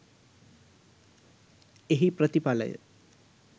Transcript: එහි ප්‍රතිඵලය